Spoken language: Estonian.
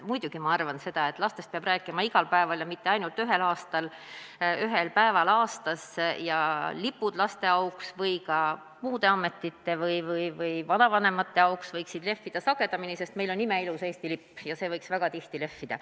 Muidugi arvan ma seda, et lastest peab rääkima igal päeval ja mitte ainult ühel päeval aastas, ja lipud laste auks või ka mingite ametite või vanavanemate auks võiksid lehvida sagedamini, sest meil on imeilus Eesti lipp ja see võiks väga tihti lehvida.